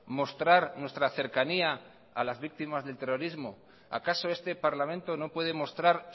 mostrar nuestra cercanía a las víctimas del terrorismo acaso este parlamento no puede mostrar